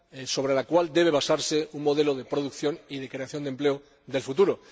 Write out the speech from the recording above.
sobre la cual debe basarse el modelo de producción y de creación de empleo del futuro.